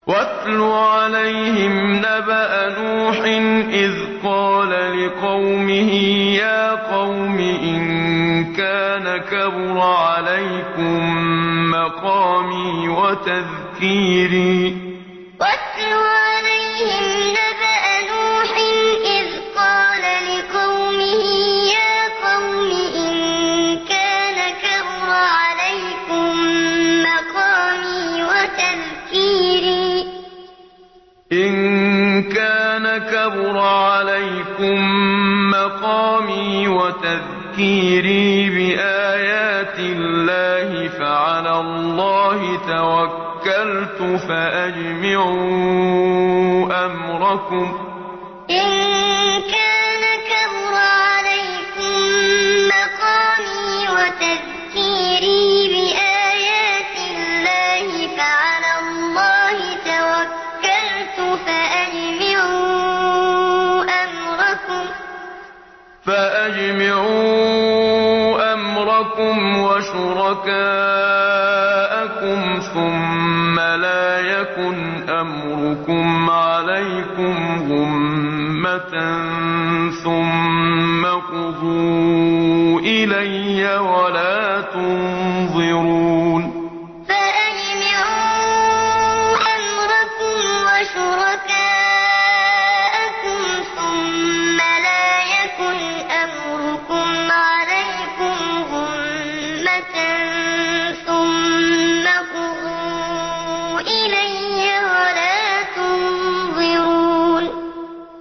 ۞ وَاتْلُ عَلَيْهِمْ نَبَأَ نُوحٍ إِذْ قَالَ لِقَوْمِهِ يَا قَوْمِ إِن كَانَ كَبُرَ عَلَيْكُم مَّقَامِي وَتَذْكِيرِي بِآيَاتِ اللَّهِ فَعَلَى اللَّهِ تَوَكَّلْتُ فَأَجْمِعُوا أَمْرَكُمْ وَشُرَكَاءَكُمْ ثُمَّ لَا يَكُنْ أَمْرُكُمْ عَلَيْكُمْ غُمَّةً ثُمَّ اقْضُوا إِلَيَّ وَلَا تُنظِرُونِ ۞ وَاتْلُ عَلَيْهِمْ نَبَأَ نُوحٍ إِذْ قَالَ لِقَوْمِهِ يَا قَوْمِ إِن كَانَ كَبُرَ عَلَيْكُم مَّقَامِي وَتَذْكِيرِي بِآيَاتِ اللَّهِ فَعَلَى اللَّهِ تَوَكَّلْتُ فَأَجْمِعُوا أَمْرَكُمْ وَشُرَكَاءَكُمْ ثُمَّ لَا يَكُنْ أَمْرُكُمْ عَلَيْكُمْ غُمَّةً ثُمَّ اقْضُوا إِلَيَّ وَلَا تُنظِرُونِ